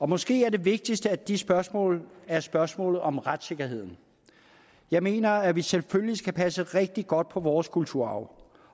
måske er det vigtigste af de spørgsmål spørgsmålet om retssikkerheden jeg mener at vi selvfølgelig skal passe rigtig godt på vores kulturarv